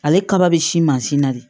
Ale kaba be si mansin na de